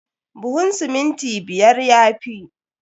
Buhun siminti biyar ya fi.